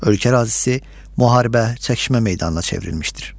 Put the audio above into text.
Ölkə ərazisi müharibə, çəkişmə meydanına çevrilmişdir.